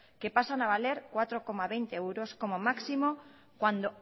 que pasan a valer cuatro coma veinte euros como máximo cuando